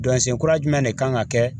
Dɔnsen kura jumɛn de kan ka kɛ